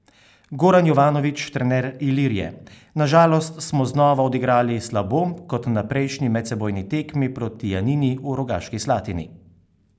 Goran Jovanovič, trener Ilirije: "Na žalost smo znova odigrali slabo kot na prejšnji medsebojni tekmi proti Janini v Rogaški Slatini.